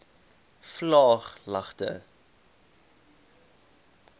vlaaglagte